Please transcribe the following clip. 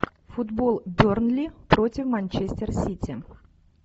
футбол бернли против манчестер сити